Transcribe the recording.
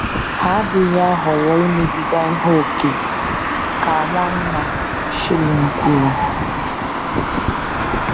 Ha adịghị ahọrọ imebiga ihe ókè, ” ka Nwanna Schilling kwuru.